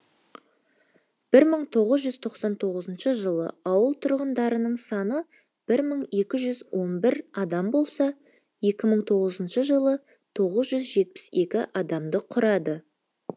бір мың тоғыз жүз тоқсан тоғызыншы жылы ауыл тұрғындарының саны бір мың екі жүз он бір адам болса екі мың тоғызыншы жылы тоғыз жүз жетпіс екі адамды құрады